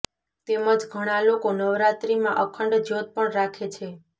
તેમજ ઘણા લોકો નવરાત્રિમાં અખંડ જ્યોત પણ રાખે છે